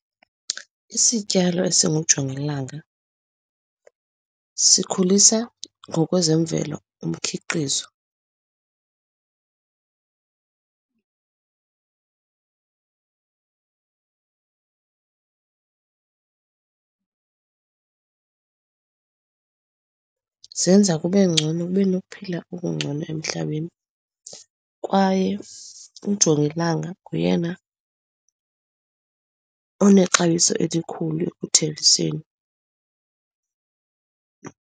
Isityalo esingujongilanga sikhulisa ngokwezemvelo umkhiqizo. Zenza kube ngcono, kube nokuphila okungcono emhlabeni. Kwaye ujongilanga nguyena onexabiso elikhulu ekuthengiseni.